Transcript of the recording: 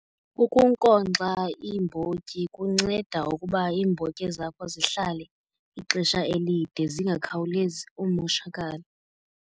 Ukunkonkxa iimbotyi kunceda ukuba iimbotyi zakho zihlale ixesha elide zingakhawulezi umoshakala.